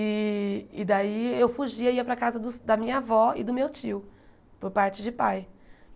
E e daí eu fugia, ia para a casa dos da minha avó e do meu tio, por parte de pai.